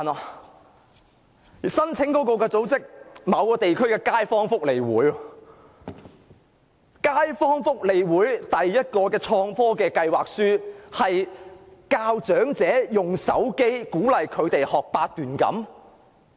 此外，該項目的申請組織是某地區的街坊福利事務促進會，旨在教育長者利用手機學習八段錦。